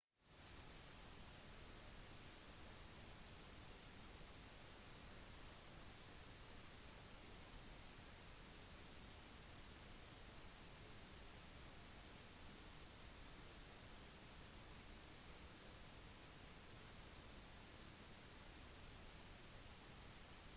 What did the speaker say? den midlertidige statsministeren julia gillard hevdet i kampanjen ved det føderale valget i 2010 at australia skulle bli en republikk på slutten av dronning elizabeth ii sin regjeringstid